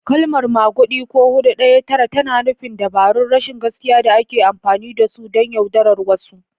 Kalmar "maguɗi," ko "Hudu Daya Tara," tana nufin dabarun rashin gaskiya da ake amfani da su don yaudarar wasu.